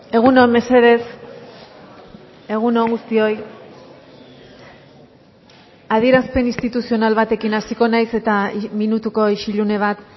egun on mesedez egun on guztioi adierazpen instituzional batekin hasiko naiz eta minutuko isilune bat